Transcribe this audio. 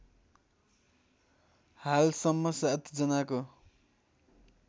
हालसम्म ७ जनाको